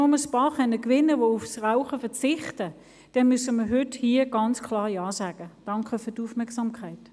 Ich gebe meine Interessenbindungen bekannt: